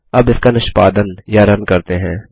अब इसका निष्पादन या रन करते हैं